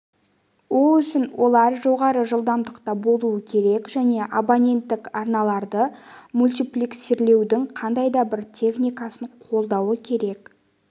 ол үшін олар жоғары жылдамдықта болуы керек және абоненттік арналарды мультиплексирлеудің қандай да бір техникасын қолдауы керек